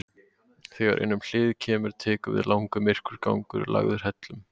Þegar innum hliðið kemur tekur við langur, myrkur gangur lagður hellum.